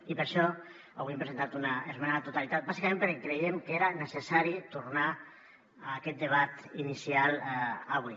i per això avui hem presentat una esmena a la totalitat bàsicament perquè creiem que era necessari tornar a aquest debat inicial avui